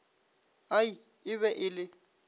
ai e be e le